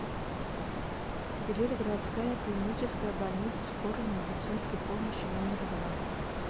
билет городская клиническая больница скорой медицинской помощи номер два